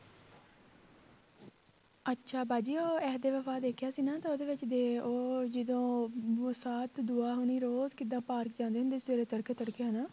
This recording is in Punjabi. ਅੱਛਾ ਬਾਜੀ ਉਹ ਇਹ ਤੇ ਦੇਖਿਆ ਸੀ ਨਾ ਤਾਂ ਉਹਦੇ ਵਿੱਚ ਦੇ ਉਹ ਜਦੋਂ ਹੋਣੀ ਰੋਜ਼ ਕਿੱਦਾਂ ਪਾਰਕ ਜਾਂਦੇ ਹੁੰਦੇ ਸੀ ਸਵੇਰੇ ਤੜਕੇ ਤੜਕੇ ਹਨਾ